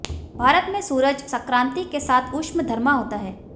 भारत में सूरज संक्रांति के साथ उष्मधर्मा होता है